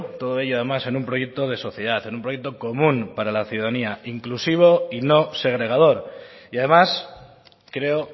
todo ello además en un proyecto de sociedad en un proyecto común para la ciudadanía inclusivo y no segregador y además creo